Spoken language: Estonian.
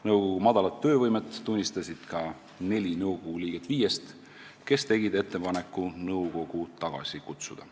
Nõukogu madalat töövõimet tunnistasid neli nõukogu liiget viiest, kes tegid ettepaneku nõukogu tagasi kutsuda.